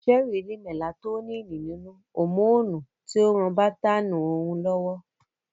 Sẹ́ẹ́rí ni mẹlatoníìnì nínú, hòmóònù tí ń ran bátáánì orun lọ́wọ́